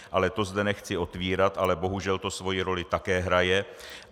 Ale to zde nechci otvírat, ale bohužel to svou roli také hraje.